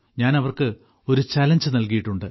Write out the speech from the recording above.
ഞാൻ അവർക്ക് ഒരു ചലഞ്ച് നൽകിയിട്ടുണ്ട്